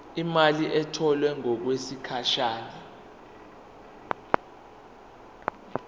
imali etholwe ngokwesigatshana